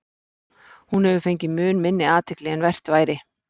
Hún hefur fengið mun minni athygli en vert væri.